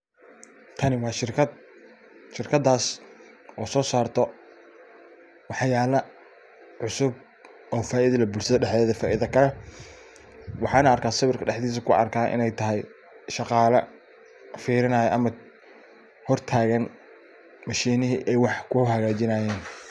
Tani waa shirkad, shirkadas oo so sarta waxyala cusub oo faido leh bulshada dhahdeda faido ka leh ,waxana arkaa sawirka dhahdisa kuarka iney tahay shaqala firinaya ama hortagan mishinihi ay wax kuhagajinayen.